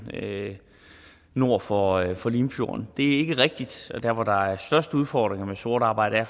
nord for for limfjorden det er ikke rigtigt og der hvor der er størst udfordringer med sort arbejde er